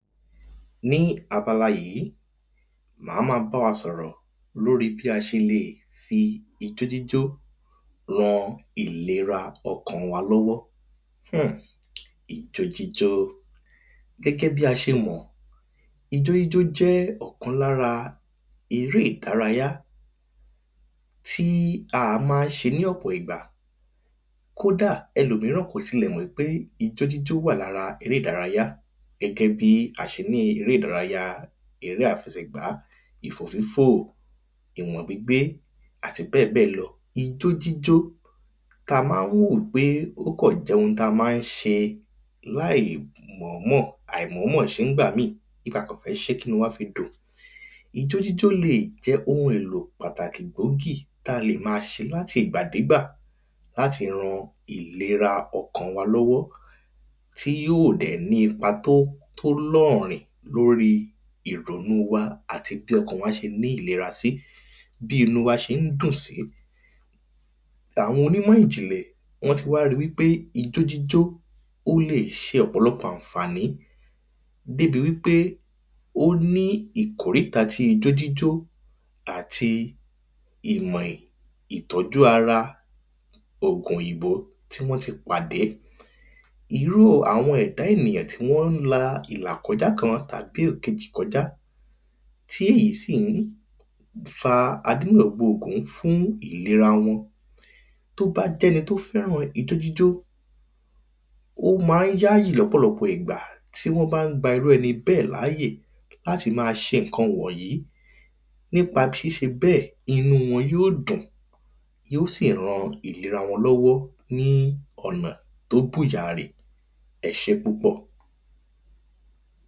ná abala yìí, màá ma báwa sọ̀rọ̀ lóri bí a ṣe leè fi ijójíjó ran ìlera ọkàn wa lọ́wọ́. ijójíjó, gẹ́gẹ́ bí a ṣe mọ̀, ijójíjó jẹ́ ọ̀kan lára eré ìdárayá, tíí àá maá ṣe ní ọ̀pọ̀ ìgbà. kòdá, ẹlòmíràn kò tilẹ̀ mọ̀ pé ijójíjó wà lára eré ìdárayá, gẹ́gẹ́ bí a ṣe ní eré ìdárayáa eré ìfẹ́sẹ̀ gbá, ìfòfífò, ìwọ̀n gbígbé, àti bẹ́ẹ̀bẹ́ẹ̀ lọ. ijójíjó ta maá wò pé ó kàn jẹ́ ohun tama ń ṣe láìmọ̀ọ́mọ̀, àìmọ̀ọ́mọ̀ ṣé nígbà míì, bíi kakàn fẹ́ ṣé kínúu waá fi dùn. ijójíjó leè jẹ́ ohun èlò pàtàkì gbógbì táa lè máa ṣe láti ìgbàdégbà láti ran ìlera ọkàn wa lọ́wọ́, tí yíò dẹ̀ ní ipa tó tólọ́ọ̀rìn lóri ìrònúu wa àti bí ọkan wá ṣe ní ìlera sí, bí inúu wá ṣe ń dùn sí. àwọn onímọ̀-ìjìnlẹ̀, wọ́n ti wá ri wípé ijójíjó ò lè ṣe ọ̀pọ̀lọpọ̀ ànfàní, débi wípé ó ní ìkòríta tí ijójíjó àti ìmọ̀ ìtọ́jú ara, ògùn òyìnbó tí wọ́n ti pàdé. irú àwọn ẹ̀dá ènìyàn tí wọ́n la ìlàkọjá kan tàbí èkejì kọjá, tí èyí sìí fa adénà gbogbo ògún fún ìlera wọn, tó bá jẹ́ni tó fẹ́ràn ijójíjó, ó ma ń yáyì lọ́pọ̀lọpọ̀ ìgbà tí wọ́n bán gba irú ẹni bẹ́ẹ̀ láyè láti ma ṣe ǹkan wọ̀n yí, nípa ṣíṣe bẹ́ẹ̀, inúu wọn yóò dùn, yíò sì ran ìlera wọn lọ́wọ́ ní ọ̀nà tó bù yàrì. ẹṣé púpọ̀.